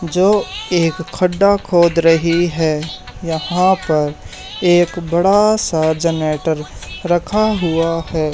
जो एक खड्डा खोद रही है यहां पर एक बड़ा सा जनरेटर रखा हुआ है।